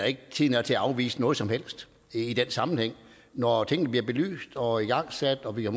ikke at tiden er til at afvise noget som helst i den sammenhæng når tingene bliver belyst og igangsat og vi har